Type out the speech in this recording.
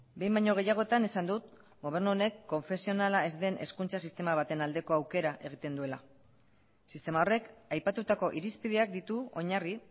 behin baino gehiagotan esan dut gobernu honek konfesionala ez den hezkuntza sistema baten aldeko aukera egiten duela sistema horrek aipatutako irizpideak ditu oinarri